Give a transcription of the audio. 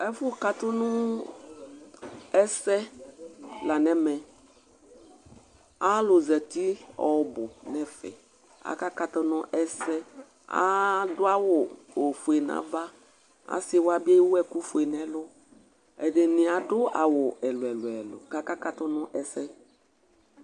Ɛfu katu nu ɛsɛ la nɛmɛ Alu zatɩ ɔbu nɛfɛ Akakatu nu ɛsɛ Aɖu awu ofoe nava Asɩ wa bɩ ewu ɛkufoe nɛlu Ɛɖɩnɩ aɖu awu ɛlu ɛlu ɛlu ɛlu kaka katu nu ɛsɛ